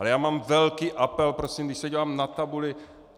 Ale já mám velký apel, prosím, když se dívám na tabuli.